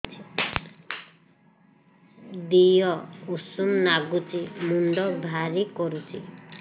ଦିହ ଉଷୁମ ନାଗୁଚି ମୁଣ୍ଡ ଭାରି କରୁଚି